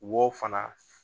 W'o fana